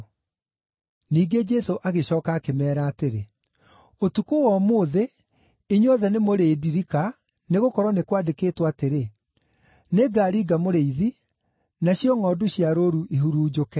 Ningĩ Jesũ agĩcooka akĩmeera atĩrĩ, “Ũtukũ wa ũmũthĩ inyuothe nĩmũrĩĩndirika nĩgũkorwo nĩ kwandĩkĩtwo atĩrĩ: “ ‘Nĩngaringa mũrĩithi, nacio ngʼondu cia rũũru ihurunjũke.’